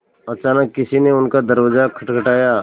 अचानक किसी ने उनका दरवाज़ा खटखटाया